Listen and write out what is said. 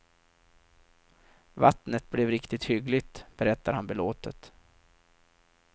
Vattnet blev riktigt hyggligt, berättar han belåtet.